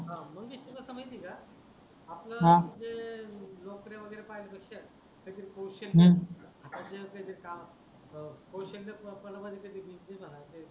मंगेश तुला अस माहिती आहे आपल म्हणजे हा जे नोकऱ्या वगेरे पाहल्या पेक्षा काही तरी कौशल्य हम्म आता जे काही तरी काम कौशली प्रणवाली कधी बिझनेस आणाचा